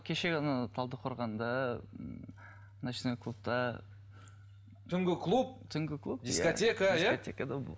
кеше ғана талдықорғанда ночной клубта түнгі клуб түнгі клуб дискотека иә